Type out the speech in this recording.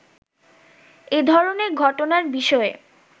“এ ধরনের ঘটনার বিষয়ে